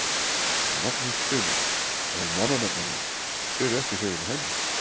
Magnús Hlynur: Og mannanafnanefnd, þið eruð ekki hrifin af henni?